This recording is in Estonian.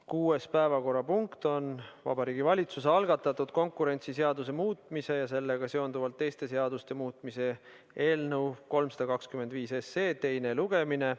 Kuues päevakorrapunkt on Vabariigi Valitsuse algatatud konkurentsiseaduse muutmise ja sellega seonduvalt teiste seaduste muutmise seaduse eelnõu 325 teine lugemine.